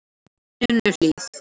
Sunnuhlíð